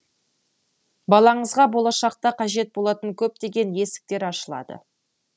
балаңызға болашақта қажет болатын көптеген есіктер ашылады